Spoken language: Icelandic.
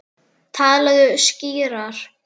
Talaðu skýrar.